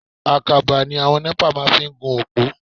Àkàbà ni àwọn NEPA máa ń fi ń gun òpó.